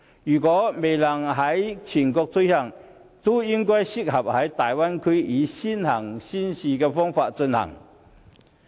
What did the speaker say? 如果這些措施未能全國推行，也適宜在大灣區內以先行先試的方式進行。